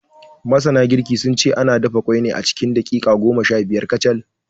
Masana girki, sun ce ana dafa ƙwai ne cikin daƙiƙa goma shabiyar kacal.